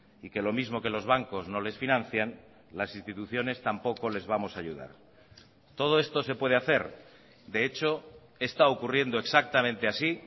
y que lo mismo que los bancos no les financian las instituciones tampoco les vamos a ayudar todo esto se puede hacer de hecho está ocurriendo exactamente así